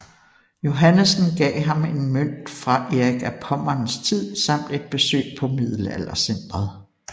Johannessen gav ham en mønt fra Erik af Pommerns tid samt et besøg på Middelaldercentret